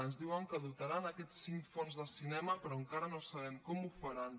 ens diuen que dotaran aquests cinc fons del cinema però encara no sabem com ho faran